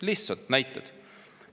Lihtsalt näited.